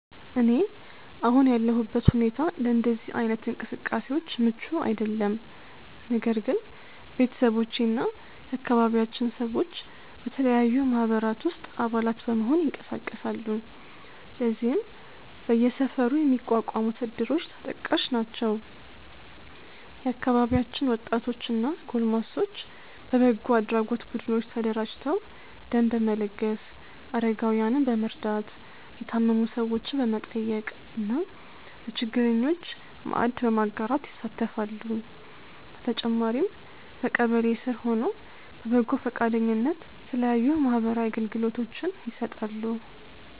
እኔ አሁን ያለሁበት ሁኔታ ለእንደዚህ አይነት እንቅስቃሴዎች ምቹ አይደለም። ነገር ግን ቤተሰቦቼ እና የአካባቢያችን ሰዎች በተለያዩ ማህበራት ውስጥ አባላት በመሆን ይንቀሳቀሳሉ። ለዚህም በየሰፈሩ የሚቋቋሙት እድሮች ተጠቃሽ ናቸው። የአካባቢያችን ወጣቶች እና ጎልማሶች በበጎ አድራጎት ቡድኖች ተደራጅተው ደም በመለገስ፣ አረጋውያንን በመርዳት፣ የታመሙ ሰዎችን በመጠየቅ እና ለችግረኞች ማዕድ በማጋራት ይሳተፋሉ። በተጨማሪም በቀበሌ ስር ሆነው በበጎ ፈቃደኝነት የተለያዩ ማህበራዊ አገልግሎቶችን ይሰጣሉ።